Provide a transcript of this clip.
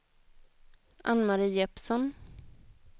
Ann-Mari Jeppsson